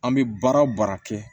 An bɛ baara o baara kɛ